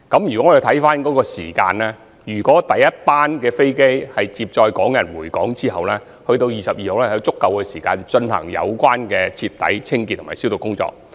從時間方面來看，第一班航機在接載港人回港後直至2月22日，應有足夠時間進行徹底的清潔及消毒工作。